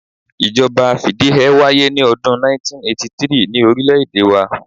Ìjọba fìdíheẹ́ wáyé ní odún 1983 ni orílẹ̀ èdè wa